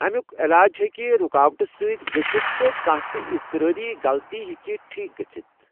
اَمیُک علاج ہیکِہ رُکاوٹہٕ سۭتۍ گٔژِھتھ، تہٕ کانہہ تِہ اضطرٲری غلطی ہیکِہ ٹھیک گٔژھتھ ۔